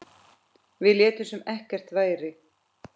Við létum sem ekkert væri.